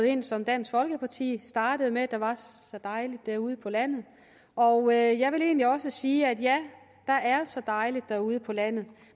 ind som dansk folkeparti startede med der var så dejligt derude på landet og jeg vil egentlig også sige at ja der er så dejligt derude på landet